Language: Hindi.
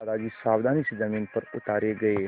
दादाजी सावधानी से ज़मीन पर उतारे गए